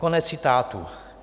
Konec citátu.